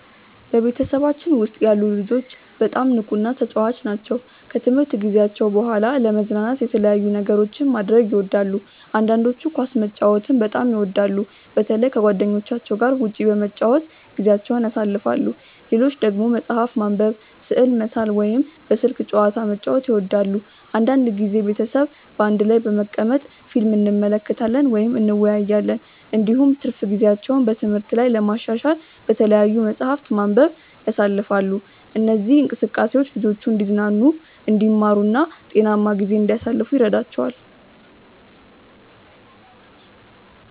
በቤተሰባችን ውስጥ ያሉ ልጆች በጣም ንቁና ተጫዋች ናቸው። ከትምህርት ጊዜያቸው በኋላ ለመዝናናት የተለያዩ ነገሮችን ማድረግ ይወዳሉ። አንዳንዶቹ ኳስ መጫወትን በጣም ይወዳሉ፣ በተለይ ከጓደኞቻቸው ጋር ውጭ በመጫወት ጊዜያቸውን ያሳልፋሉ። ሌሎች ደግሞ መጽሐፍ ማንበብ፣ ስዕል መሳል ወይም በስልክ ጨዋታ መጫወት ይወዳሉ። አንዳንድ ጊዜ ቤተሰብ በአንድ ላይ በመቀመጥ ፊልም እንመለከታለን ወይም እንወያያለን። እንዲሁም ትርፍ ጊዜያቸውን በትምህርት ላይ ለማሻሻል በተለያዩ መጻሕፍት ማንበብ ያሳልፋሉ። እነዚህ እንቅስቃሴዎች ልጆቹ እንዲዝናኑ፣ እንዲማሩ እና ጤናማ ጊዜ እንዲያሳልፉ ይረዳቸዋል።